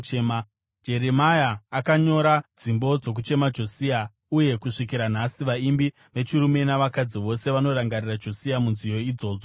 Jeremia akanyora dzimbo dzokuchema Josia, uye kusvikira nhasi vaimbi vechirume nevechikadzi vose vanorangarira Josia munziyo idzodzo dzokuchema.